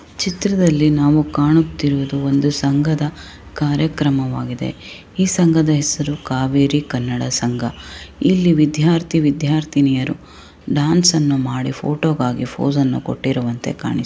ಈ ಚಿತ್ರದಲ್ಲಿ ನಾವು ಕಾಣುತಿರುವುದು ಒಂದು ಸಂಘದ ಕಾರ್ಯಕ್ರಮವಾಗಿದೆ. ಈ ಸಂಘದ ಹೆಸರು ಕಾವೇರಿ ಕನ್ನಡ ಸಂಘ. ಇಲ್ಲಿ ವಿದ್ಯಾರ್ಥಿ ವಿದ್ಯಾರ್ಥಿನಿಯರು ಡಾನ್ಸ್ ಅನ್ನು ಮಾಡಿ ಫೋಟೋ ಗಾಗಿ ಪೋಸ್ ಅನ್ನು ಕೊಟ್ಟಿರುವಂತೆ ಕಾಣಿಸು --